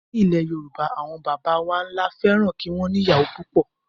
Ní ilẹ̀ Yorùbá, àwọn bàbá ńlá wa fẹ́ràn kí wọn ní ìyàwó pupo.